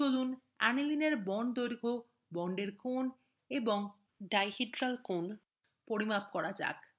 চলুন anilineএর bond দৈর্ঘ্য বন্ডের কোণ এবং ডাইডিড্রাল অ্যাঙ্গেলস পরিমাপ করা যাক